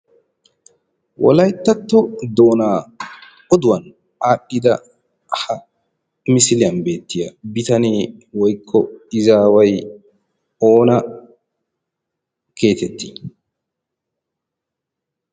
Wolayttatto doonaa oduwan aadhdhida ha misiiliyan beettiya bitanee woykko izaaway oona geetettii?